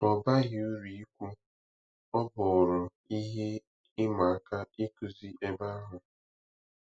Ọ baghị uru ikwu, ọ bụụrụ ihe ịma aka ịkụzi ebe ahụ.